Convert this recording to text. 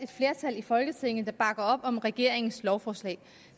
flertal i folketinget der bakker op om regeringens lovforslag